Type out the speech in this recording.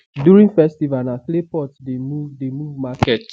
during festival na clay pot the move the move market